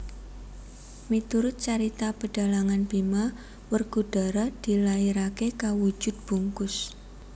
Miturut carita pedhalangan Bima Werkudara dilairaké kawujud bungkus